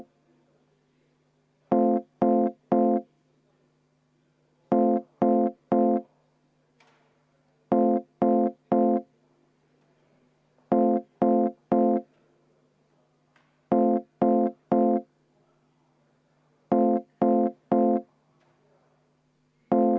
Kas midagi läks mul kahe kõrva vahelt läbi?